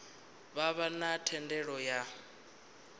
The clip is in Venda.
vha vha na thendelo ya